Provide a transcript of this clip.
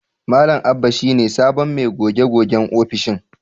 Malam Abba shi ne sabon mai goge-gogen ofishin.